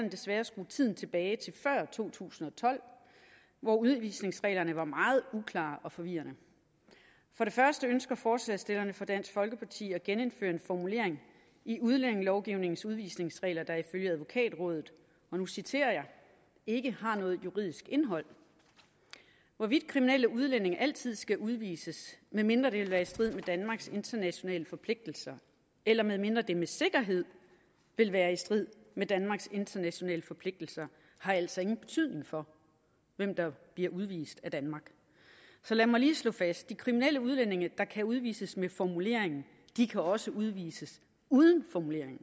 desværre at skrue tiden tilbage til før to tusind og tolv hvor udvisningsreglerne var meget uklare og forvirrende for det første ønsker forslagsstillerne fra dansk folkeparti at genindføre en formulering i udlændingelovgivningens udvisningsregler der i følge advokatrådet og nu citerer jeg ikke har noget juridisk indhold hvorvidt kriminelle udlændinge altid skal udvises medmindre det vil være i strid med danmarks internationale forpligtelser eller medmindre det med sikkerhed vil være i strid med danmarks internationale forpligtelser har altså ingen betydning for hvem der bliver udvist af danmark så lad mig lige slå fast de kriminelle udlændinge der kan udvises med formuleringen kan også udvises uden formuleringen